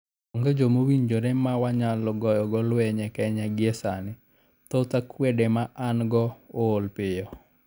"Onge joma owinjore ma wanyalo goyogo lweny e Kenya gie sani, thoth jo akwede ma an-go ool piyo.